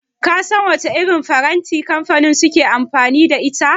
Ka san wace irin firinta kamfanin suke amfani da ita?